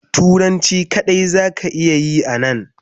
turanci kadai me za ka iya Yi a Nan.